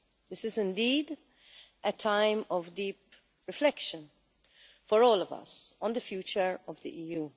This is indeed a time of deep reflection for all of us on the future of the EU.